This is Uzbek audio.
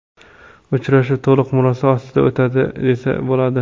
Uchrashuv to‘liq murosa ostida o‘tdi desa bo‘ladi.